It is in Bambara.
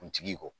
Kuntigi kɔ